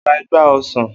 O ra igba ọsán.